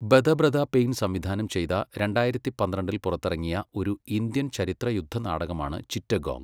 ബെദബ്രത പെയ്ൻ സംവിധാനം ചെയ്ത രണ്ടായിരത്തി പന്ത്രണ്ടിൽ പുറത്തിറങ്ങിയ ഒരു ഇന്ത്യൻ ചരിത്ര യുദ്ധ നാടകമാണ് ചിറ്റഗോംഗ്.